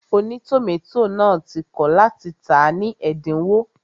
Ònítòmátò náà ti kọ̀ láti tàá ní ẹ̀dínwó